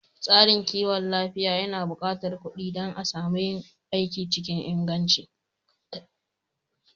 Tsarin kiwon lafiya yana buƙatar kuɗi dan a samu yin aiki cikin inganci